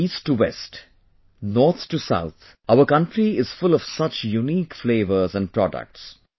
From East to West, North to South our country is full of such unique flavors and products